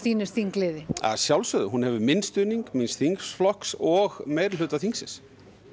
þingliði að sjálfsögðu hún hefur minn stuðning míns þingflokks og meirihluta þingsins